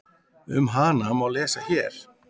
Um hana má lesa hér.